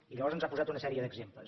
i llavors ens ha posat una sèrie d’exemples